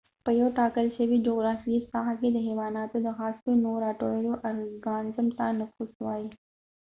په یو ټاکل شوي جغرافیایې ساحه کې د حیواناتو د خاصو نوعو راټولولو ارګانزم ته نفوس وایي